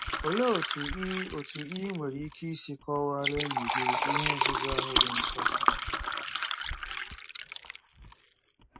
Olee otú i otú i nwere ike isi kọwaara enyi gị ihe nzuzo ahụ dị nsọ?